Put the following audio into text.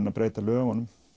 að breyta lögunum